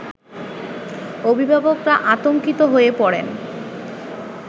অভিভাবকরা আতংকিত হয়ে পড়েন